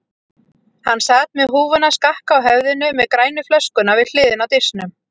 Hann sat með húfuna skakka á höfðinu með grænu flöskuna við hliðina á disknum.